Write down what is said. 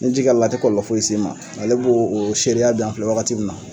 Ni ji kɛla la a ti kɔlɔlɔ foyi si ma, ale b'o o seereya dan filɛ wagati min na